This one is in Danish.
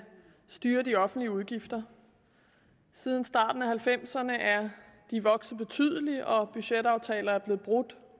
styre de offentlige udgifter siden starten af nitten halvfemserne er de vokset betydeligt og budgetaftaler er blevet brudt